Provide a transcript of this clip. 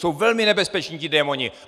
Jsou velmi nebezpeční, ti démoni!